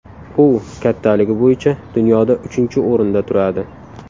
U kattaligi bo‘yicha dunyoda uchinchi o‘rinda turadi.